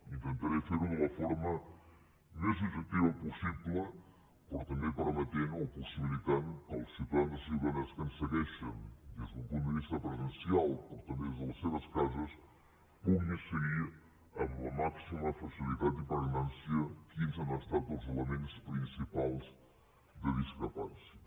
intentaré fer ho de la forma més objectiva possible però també permetent o possibilitant que els ciutadans i ciutadanes que ens segueixen des d’un punt de vista presencial però també des de les seves cases puguin seguir amb la màxima facilitat i pregnància quins han estat els elements principals de discrepància